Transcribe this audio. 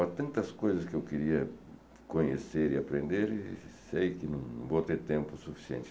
Há tantas coisas que eu queria conhecer e aprender e sei que não vou ter tempo suficiente.